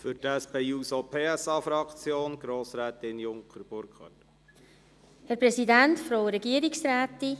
Für die SP-JUSO-PSA-Fraktion hat Grossrätin Junker das Wort.